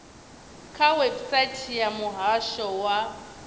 kha website ya muhasho wa